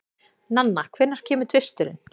Nanna, hvenær kemur tvisturinn?